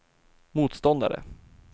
motståndare